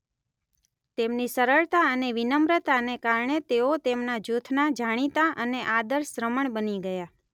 તેમની સરળતા અને વિનમ્રતાને કારણે તેઓ તેમના જૂથના જાણીતા અને આદર્શ શ્રમણ બની ગયાં.